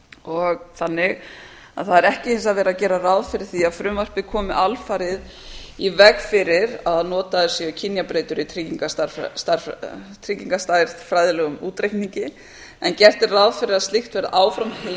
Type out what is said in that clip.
og þannig að það er ekki hins vegar verið að gera ráð fyrir því að frumvarpið komi alfarið í veg fyrir að notaðar séu kynjabreytur í tryggingastærðfræðilegum útreikningi en gert er ráð fyrir að slíkt verði áfram heimilt við